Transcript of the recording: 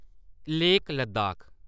lake Ladakh